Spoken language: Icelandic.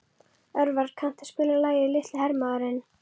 Örvar, kanntu að spila lagið „Litli hermaðurinn“?